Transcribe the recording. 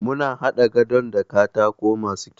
Muna haɗa gadon da katako masu kyau.